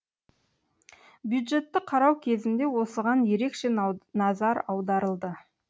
бюджетті қарау кезінде осыған ерекше назар аударылды